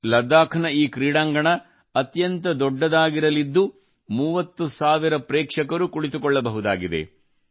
ಲಡಾಖ್ ನ ಈ ಕ್ರೀಡಾಂಗಣ ಅತ್ಯಂತ ದೊಡ್ಡದಾಗಿರಲಿದ್ದು 30 ಸಾವಿರ ಜನರು ಕುಳಿತುಕೊಳ್ಳಬಹುದಾಗಿದೆ